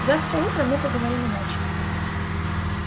завтра утром мы поговорим иначе